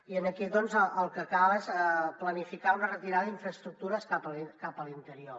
i aquí el que cal és planificar una retirada d’infraestructures cap a l’interior